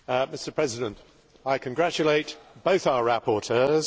Mr President, I congratulate both our rapporteurs